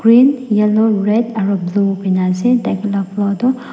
green yellow red aro blue kurina ase takhan la floor toh.